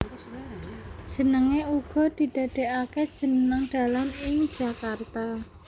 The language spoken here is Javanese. Jenenge uga didadekake jeneng dalan ing Jakarta